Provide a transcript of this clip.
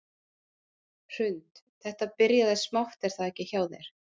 Hrund: Þetta byrjaði smátt er það ekki hjá þér?